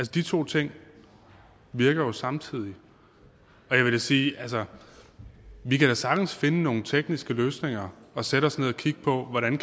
de to ting virker jo samtidig og jeg vil sige at vi da sagtens kan finde nogle tekniske løsninger og sætte os ned og kigge på hvordan